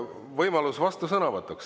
Võimalus vastusõnavõtuks.